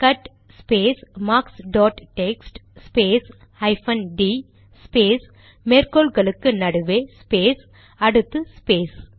cut space marks dot text space hyphen D space மேற்கோள் குறிகளுக்கு நடுவே ஸ்பேஸ் அடுத்து ஸ்பேஸ்